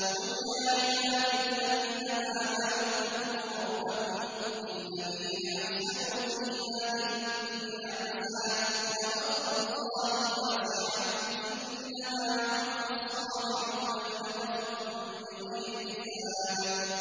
قُلْ يَا عِبَادِ الَّذِينَ آمَنُوا اتَّقُوا رَبَّكُمْ ۚ لِلَّذِينَ أَحْسَنُوا فِي هَٰذِهِ الدُّنْيَا حَسَنَةٌ ۗ وَأَرْضُ اللَّهِ وَاسِعَةٌ ۗ إِنَّمَا يُوَفَّى الصَّابِرُونَ أَجْرَهُم بِغَيْرِ حِسَابٍ